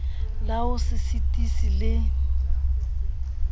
la ho se sitise le